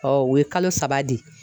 o ye kalo saba di.